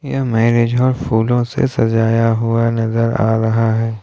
यह marriage hall फूलों से सजाया हुआ नजर आ रहा है।